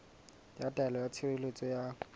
ya taelo ya tshireletso ya